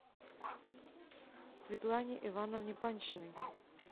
светлане ивановне паньшиной